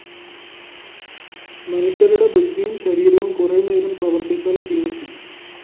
മനുഷ്യരുടെ ബുദ്ധിയും ശരീരവും കുറെ നേരം പ്രവര്‍ത്തിച്ചാല്‍ ക്ഷീണിക്കും